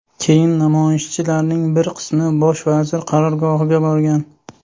Keyin namoyishchilarning bir qismi bosh vazir qarorgohiga borgan.